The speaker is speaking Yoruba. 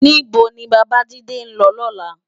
Ni bó ni Babajide n lò lòlá?